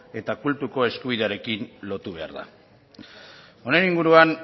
eta kultuko eskubiderekin lotu behar da honen inguruan